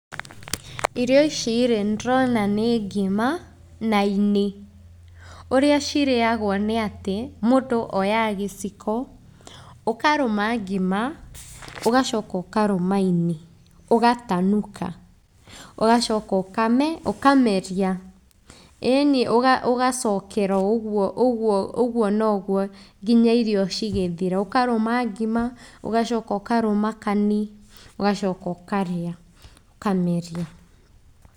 Irio ici rĩ, nĩ ndĩrona nĩ ngima na ini. Ũrĩa cirĩagwo nĩ atĩ, mũndũ oyaga gĩciko, ũkarũma ngima, ũgacoka ũkarũma ini, ũgatanuka. Ũgacoka ũkameria. ĩni, ũgacokera o ũguo, ũguo, ũguo na ũguo nginya irio cigĩthira. Ũkarũma ngima, ũgacoka ũkarũma kani, ũgacoka ũkarĩa, ũkameria.